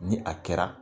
Ni a kɛra